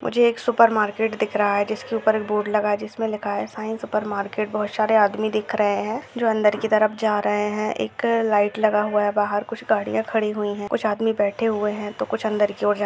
मुझे एक supermarket दिख रहा है जिसकी ऊपर एक बोर्ड लगा है जिसमे लिखा है साई सुपर मार्केट बहुत सारे आदमी दिख रहे है जो अंदर की तरफ जा रहे है एक लाइट लगा हुआ है बाहर कुछ गाड़ीया खड़ी हुई है कुछ आदमी बैठे हुए है तो कुछ अंदर की और जा--